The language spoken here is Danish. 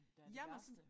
Der er det værste